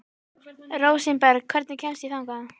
Rósinberg, hvernig kemst ég þangað?